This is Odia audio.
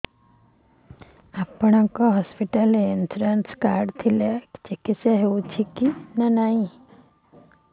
ଆପଣଙ୍କ ହସ୍ପିଟାଲ ରେ ଇନ୍ସୁରାନ୍ସ କାର୍ଡ ଥିଲେ ଚିକିତ୍ସା ହେଉଛି କି ନାଇଁ